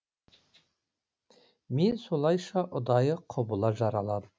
мен солайша ұдайы құбыла жаралам